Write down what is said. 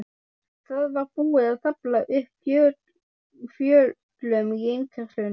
Það var búið að stafla upp fjölum í innkeyrslunni.